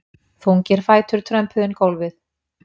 Þungir fætur trömpuðu inn gólfið.